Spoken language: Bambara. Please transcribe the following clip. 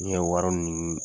Min ye wari ɲinini